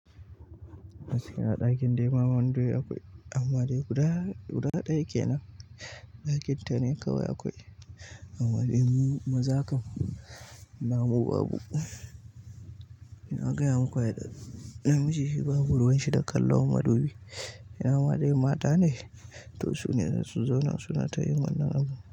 Masu kai na ɗakin da yamma madubi akwai, amma dai guda ɗaya ke nan. Dakinta ne kawai akwai amma dai ni maza kam na wawwagu uhm nagaya maku ai ɗazu namiji shi babu ruwan shi da kallon madubi ma ɗayan mata ne to sune zasu zauna suna tayin wannan abun.